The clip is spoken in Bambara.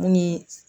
Mun ye